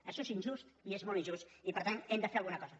això és injust i és molt injust i per tant hem de fer alguna cosa